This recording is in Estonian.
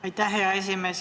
Aitäh, hea esimees!